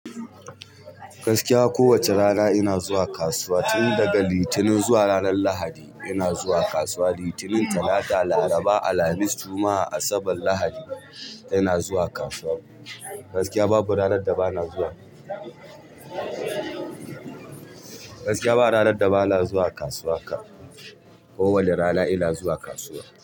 Gaskiya ko wace rana ina zuwa kasuwa tun daga Litinin zuwa ranar Lahadi ina zuwa kasuwa Litinin, Talata, Laraba, Alhamis, Juma'a, Asabar, Lahadi. Ina zuwa kasuwa. Gaskiya babu ranar da ba na zuwa. Gaskiya ba ranar da ba na zuwa kasuwa haka. Kowani rana ina zuwa kasuwa.